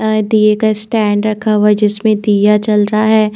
अ दिए का स्टैन्ड रखा हुआ है जिसमे दिया जल रहा है।